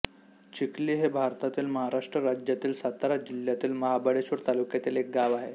चिखली हे भारतातील महाराष्ट्र राज्यातील सातारा जिल्ह्यातील महाबळेश्वर तालुक्यातील एक गाव आहे